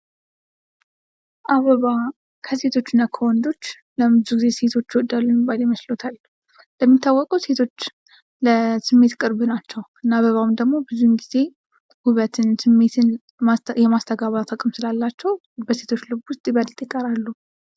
አበባ ከሴቶችና ከወንዶች ለምን ብዙ ጊዜ ሴቶች ይወዳሉ የሚባል ይመስልዎታል? እንደሚታወቀው ሴቶች ለስሜት ቅርብ ናቸው። እና አበባውም ደሞ ብዙን ጊዜ ውበትን ስሜትን የማስተጋባት አቅም ስላላቸው በሴቶች ልብ ውስጥ ይበልጥ ይቀራሉ።